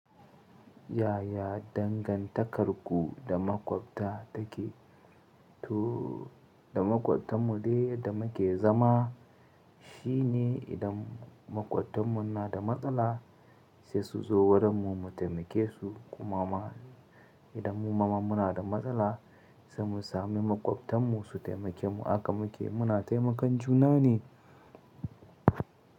Yaya dangantakarku da maƙwabta take? To da maƙwabtan mu ne da muke zama. Shi ne idan maƙwabtanmu na da matsala sai su zo wurinmu mu taimake su. Kuma idan mu ma muna da matsala sai mu sami maƙwabtan mu su taimake mu. Hakan muke muna taimakan juna ne.